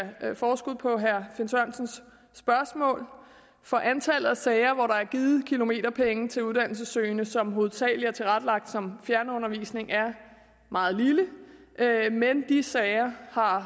forskud på herre finn sørensens spørgsmål for antallet af sager hvor der er givet kilometerpenge til uddannelsessøgende som hovedsagelig er tilrettelagt som fjernundervisning er meget lille men de sager har